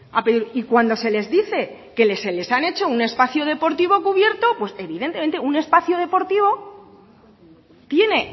a pedir y cuando se les dice que se les han hecho un espacio deportivo cubierto evidentemente un espacio deportivo tiene